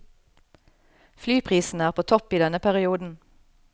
Flyprisene er på topp i denne perioden.